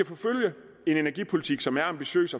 forfølge en energipolitik som er ambitiøs